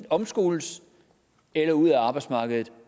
omskoles eller ud af arbejdsmarkedet